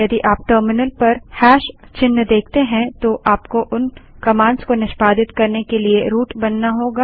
यदि आप टर्मिनल पर हैशचिन्ह देखते हैं तो आपको उन कमांड्स को निष्पादित करने के लिए रूट बनाना होगा